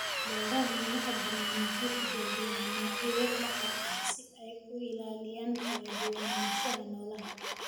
Beeraha madaxa banaan waxay tijaabiyaan noocyo dhaxal ah si ay u ilaaliyaan kala duwanaanshaha noolaha.